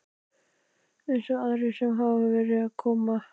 Eins og aðrir sem hafa verið að koma?